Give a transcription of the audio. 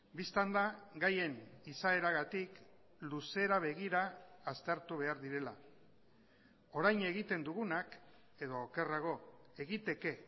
bistan da gaien izaeragatik luzera begira aztertu behar direla orain egiten dugunak edo okerrago egiteke